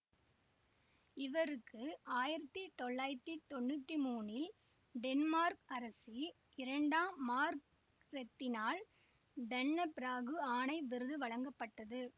இவருக்கு ஆயிரத்தி தொள்ளாயிரத்தி தொன்னூத்தி மூனில் டென்மார்க் அரசி இரண்டாம் மார்கரெத்தினால் டன்னெபிராகு ஆணை விருது வழங்கப்பட்டது